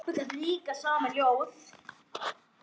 Pabbi gat líka samið ljóð.